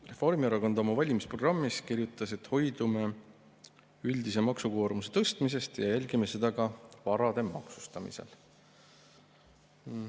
Reformierakond oma valimisprogrammis kirjutas, et hoidume üldise maksukoormuse tõstmisest ja jälgime seda ka varade maksustamisel.